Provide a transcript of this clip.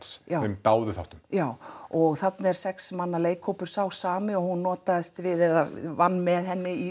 Friends þeim dáðu þáttum já og þarna er sex manna leikhópurinn sá sami og hún notaðist við eða vann með henni í